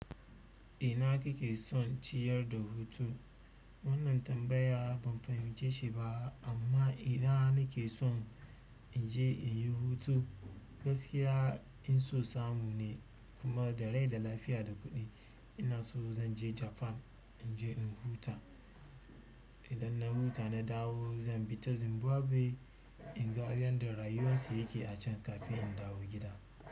Ina kike son ciyar da hutu? Wannan tambaya ban fahimce shi ba amma idan nake son in je inyi hutu gaskiya in so samu ne kuma da rai da lafiya da kuɗi. Inaso zan je japan inje in huta idan na huta na dawo zan bi ta Zimbabwe in ga yadda rayuwar su yake a can kafin in dawo gida.